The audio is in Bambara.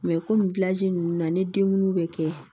komi ninnu na ni denkundi bɛ kɛ